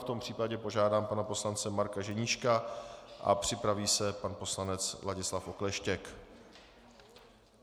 V tom případě požádám pana poslance Marka Ženíška a připraví se pan poslanec Ladislav Okleštěk.